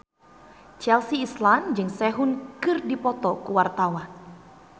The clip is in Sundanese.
Chelsea Islan jeung Sehun keur dipoto ku wartawan